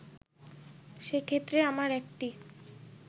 সেক্ষেত্রে আমার একটি